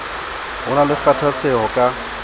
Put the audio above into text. ho na le kgathatseho ka